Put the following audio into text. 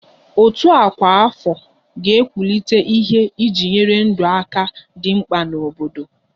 Òtù ọkwa afọ ga-ewulite ihe eji enyere ndụ aka dị mkpa n'obodo